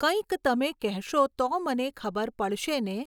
કંઈક તમે કહેશો તો મને ખબર પડશે ને!